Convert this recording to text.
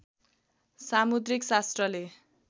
सामुद्रीक शास्त्रले